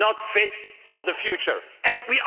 Not fit for the future and we all know it.